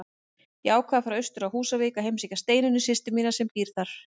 Ég ákvað að fara austur á Húsavík og heimsækja Steinunni systur mína sem þar býr.